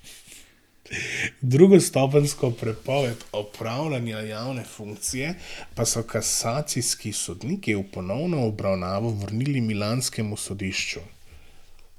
Drugostopenjsko prepoved opravljanja javne funkcije pa so kasacijski sodniki v ponovno obravnavo vrnili milanskemu sodišču.